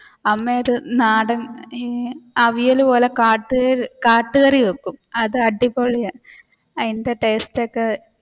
അമ്മയുടെ നാടൻ അവിയൽ പോലെ കാടകാട്ടുകറി വെക്കും അതടിപൊളിയാണ് അതിന്റെ ടേസ്റ്റ് ഒക്കെ.